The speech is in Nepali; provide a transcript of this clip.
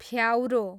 फ्याउरो